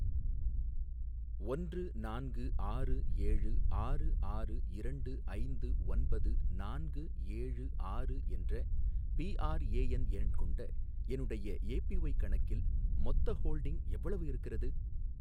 ஒன்று நான்கு ஆறு ஏழு ஆறு ஆறு இரண்டு ஐந்து ஒன்பது நான்கு ஏழு ஆறு என்ற பிஆர்ஏஎன் எண் கொண்ட என்னுடைய ஏபிஒய் கணக்கில் மொத்த ஹோல்டிங் எவ்வளவு இருக்கிறது